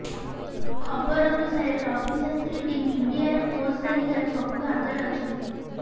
ଖବର ଅନୁସାରେ ରବୀ ଶାସ୍ତ୍ରୀ ଟିମ୍ ଇଣ୍ଡିଆର କୋଚ୍ ତାଲିକାର ସବୁଠୁ ଆଗରେ ଅଛନ୍ତି